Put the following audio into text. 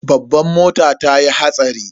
Babban mota tayi hatsari.